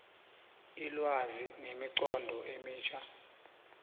ilwazi nemiqondo emitjha